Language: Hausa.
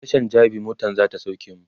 a Tashan jabi motan zata sauke mu